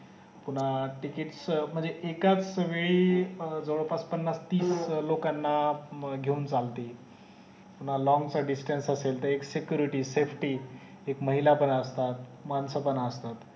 पुन्हा आह ticket स म्हणजे एकास वेळी अं जवळपास पन्नास तीस लोकांना अं घेऊन चालतेय पुन्हा long चा distance असेल तेर security safety एक महिला पण असतात मानस पण असतात